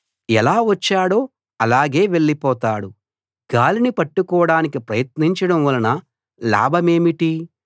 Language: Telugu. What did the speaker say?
ఎలా వచ్చాడో అలాగే వెళ్ళిపోతాడు గాలిని పట్టుకోడానికి ప్రయత్నించడం వలన లాభమేమిటి